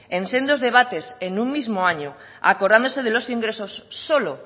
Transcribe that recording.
en sendos debates en un mismo año acordándose de los ingresos solo